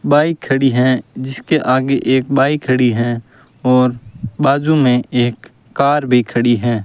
Bike खड़ी हैं जिसके आगे एक बाइक खड़ी हैं और बाजू में एक कार भी खड़ी हैं।